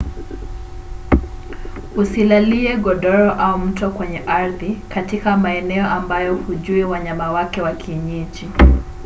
usilalie godoro au mto kwenye ardhi katika maeneo ambayo hujui wanyama wake wa kienyeji